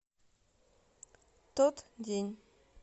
тот день